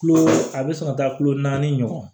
Kulo a bɛ sɔn ka taa kulo naani ɲɔgɔn